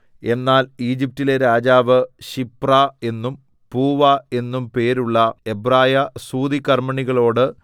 എന്നാൽ ഈജിപ്റ്റിലെ രാജാവ് ശിപ്രാ എന്നും പൂവാ എന്നും പേരുള്ള എബ്രായ സൂതികർമ്മിണികളോട്